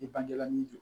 I bangela min don